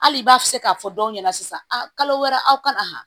Hali i b'a se k'a fɔ dɔw ɲɛna sisan a kalo wɛrɛ aw kana